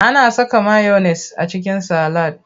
Ana saka mayones a cikin salad.